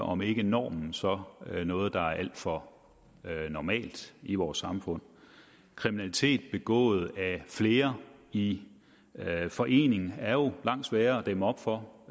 om ikke normen så noget der er alt for normalt i vores samfund kriminalitet begået af flere i forening er jo langt sværere at dæmme op for